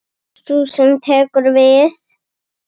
Sú sem tekur við.